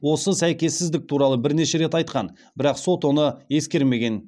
осы сәйкессіздік туралы бірнеше рет айтқан бірақ сот оны ескермеген